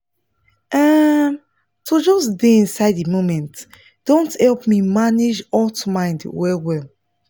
um to just stay inside the moment don help me manage hot mind well well